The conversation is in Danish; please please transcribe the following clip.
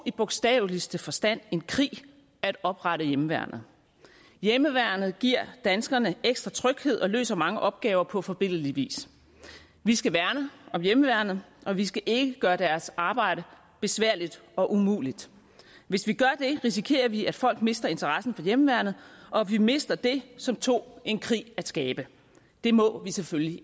i bogstaveligste forstand en krig at oprette hjemmeværnet hjemmeværnet giver danskerne ekstra tryghed og løser mange opgaver på forbilledlig vis vi skal værne om hjemmeværnet og vi skal ikke gøre deres arbejde besværligt og umuligt hvis vi gør det risikerer vi at folk mister interessen for hjemmeværnet og vi mister det som tog en krig at skabe det må vi selvfølgelig